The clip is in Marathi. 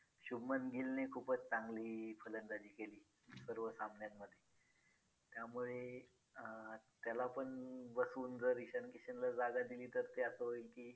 शुभमन गिलने खूपच चांगली फलंदाजी केली सर्व सामन्यामध्ये त्यामुळे अं त्याला पण बसवून जर ईशान किशनला जागा दिली तर ते असं होईल की